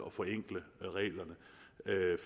at forenkle reglerne